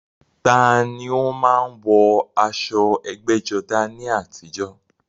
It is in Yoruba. Ta ni ó máa ń wọ aṣọ ẹgbẹ́jọdá ní àtijọ́?